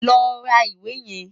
Lọ ra ìwé yẹn!